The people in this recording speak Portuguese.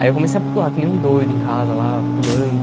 Aí eu comecei a pular, que nem um doido em casa, lá, pulando.